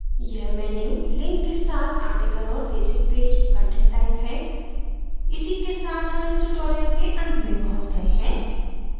यह menu link के साथ article और basic page content type है इसी के साथ हम tutorial के अंत में पहुँच गए हैं